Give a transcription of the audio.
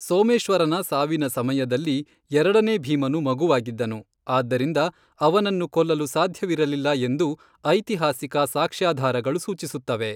ಸೋಮೇಶ್ವರನ ಸಾವಿನ ಸಮಯದಲ್ಲಿ ಎರಡನೇ ಭೀಮನು ಮಗುವಾಗಿದ್ದನು, ಆದ್ದರಿಂದ ಅವನನ್ನು ಕೊಲ್ಲಲು ಸಾಧ್ಯವಿರಲಿಲ್ಲ ಎಂದು ಐತಿಹಾಸಿಕ ಸಾಕ್ಷ್ಯಾಧಾರಗಳು ಸೂಚಿಸುತ್ತವೆ.